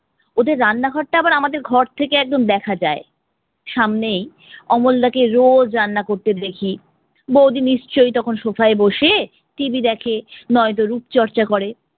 ওদের রান্না ঘরটা আবার আমাদের ঘর থেকে একদম দেখা যায়. সামনেই অমল দা কে রোজ রান্না করতে দেখি। বৌদি নিশ্চই তখন sofa ই বসে TV দেখে, নয়তো রূপ চর্চা করে